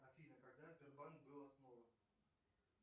афина когда сбербанк был основан